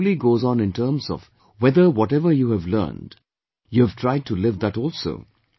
Life truly goes on in terms of whether whatever you have learned, you have tried to live that also